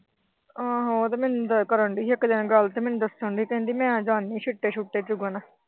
ਹਾਂ ਹਾਂ ਉਹ ਤਾਂ ਮੈਨੂੰ ਕਰਨ ਦਈਂ ਸੀ ਇੱਕ ਦਿਨ ਗੱਲ ਤੇ ਮੈਨੂੰ ਦੱਸਣ ਦੀ ਕਿ ਮੈਂ ਜਾਂਦੀ ਆ ਛਿੱਟੇ-ਛੁਟੇ ਚੁਗਣ